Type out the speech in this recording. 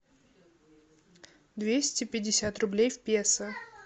двести пятьдесят рублей в песо